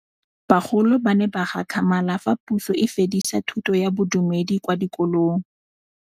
Bagolo ba ne ba gakgamala fa Pusô e fedisa thutô ya Bodumedi kwa dikolong.